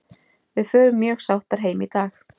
Við förum mjög sáttar heim í dag.